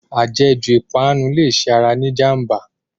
Ajẹ̀ jù ìpanu lè ṣe ara ní ìjànbá.